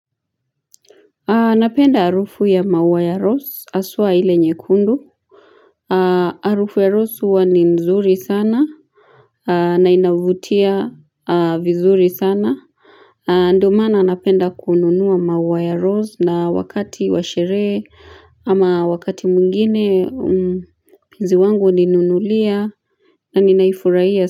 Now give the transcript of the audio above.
Anapenda arufu ya maua ya rose aswa hile nyekundu Arufu ya rose uwa ni nzuri sana Nainavutia vizuri sana ndo maana napenda kununua maua ya rose na wakati washerehe ama wakati mwingine mzi wangu uninunulia na ninaifuraiya.